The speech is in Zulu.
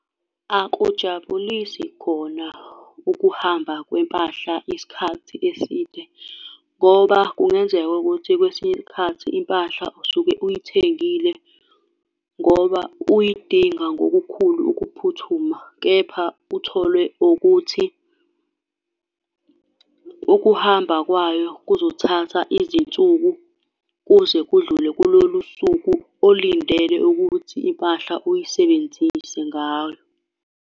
Akujabulisi khona ukuhamba kwempahla isikhathi eside, ngoba kungenzeka ukuthi kwesinye isikhathi impahla usuke uyithengile ngoba uyidinga ngokukhulu ukuphuthuma, kepha utholwe ukuthi ukuhamba kwayo kuzothatha izinsuku kuze kudlule kulolu suku olindele ukuthi impahla uyisebenzise ngalo.